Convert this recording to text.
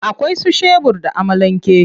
Akwai su shebur da amalan ke.